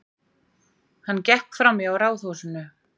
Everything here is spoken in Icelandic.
Hann gekk framhjá ráðhúsinu.